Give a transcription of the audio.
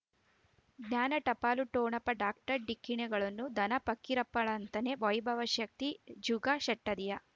ಜ್ಞಾನ ಟಪಾಲು ಠೊಣಪ ಡಾಕ್ಟರ್ ಢಿಕ್ಕಿ ಣಗಳನು ಧನ ಫಕೀರಪ್ಪ ಳಂತಾನೆ ವೈಭವ್ ಶಕ್ತಿ ಜುಗಾ ಷಟದಿಯ